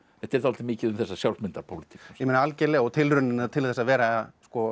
þetta er dálítið mikið um þessa sjálfsmyndar pólitík algerlega og tilraunina til þess að vera